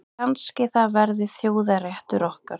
Kannski það verði þjóðarréttur okkar.